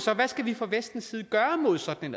hvad skal vi gøre fra vestens side mod sådan